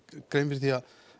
grein fyrir því